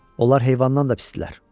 Onlar heyvandan da pisdirlər.